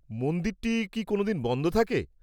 মন্দিরটি কি কোনও দিন বন্ধ থাকে?